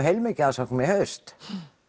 heilmikið af umsóknum í haust